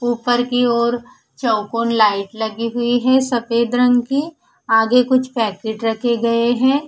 ऊपर की ओर चौकोन लाइट लगी हुई है सफेद रंग की आगे कुछ पैकेट रखे गए हैं।